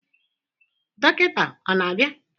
Dọkịta ọ na-abịa?